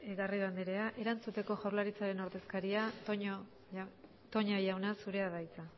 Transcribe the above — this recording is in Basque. garrido andrea erantzuteko jaurlaritzaren ordezkaria toña jauna zurea da hitza